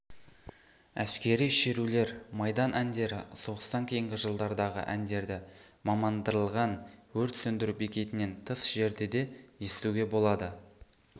әскери шерулер майдан әндері соғыстан кейінгі жылдардағы әндерді мамандандырылған өрт сөндіру бекетінен тыс жерде де естуге болады